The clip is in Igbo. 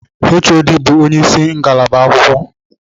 HOD bụ ónyé ịsị ngalaba agụmakwụkwọ.